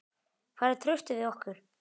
Hvar er traustið við okkur?